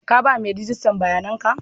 Ka ba mai rijistan bayanan ka?